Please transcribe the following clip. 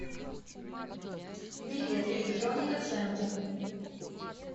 билет электроника центр